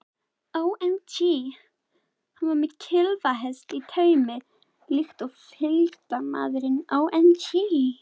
Hann var með klyfjahest í taumi líkt og fylgdarmaðurinn.